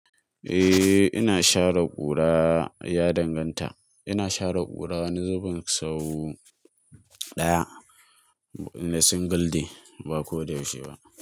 Eh ina share ƙura, ya danganta. Ina share ƙura wani zubin sau ɗaya, na single day ba ko da yaushe ba.